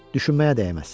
Düşünməyə dəyməz.